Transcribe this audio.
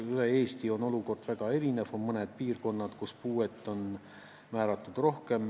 Üle Eesti on olukord väga erinev, mõnes piirkonnas on puuet rohkem määratud.